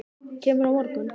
Kemurðu á morgun?